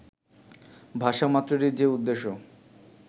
ভাষা মাত্রেরই যে উদ্দেশ্য